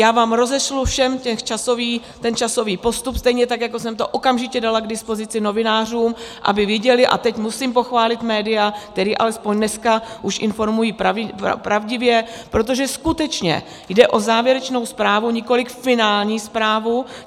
Já vám rozešlu všem ten časový postup, stejně tak jako jsem to okamžitě dala k dispozici novinářům, aby viděli - a teď musím pochválit média, které alespoň dneska už informují pravdivě, protože skutečně jde o závěrečnou zprávu, nikoliv finální zprávu.